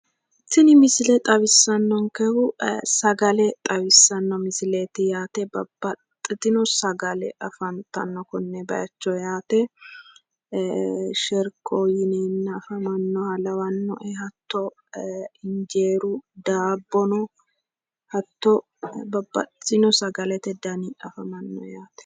Tini misile xawissannonkehu sagale xawissanno misileeti yaate. Babbaxxitino sagale afantanno konne bayicho yaate. Sherkoho yineenna afamannoha lawannoe. Hatto injeeru daabbono hatto babbaxxitino sagalete dana amadiwo yaate.